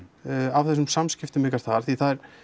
á þessum samskiptum ykkar þar því það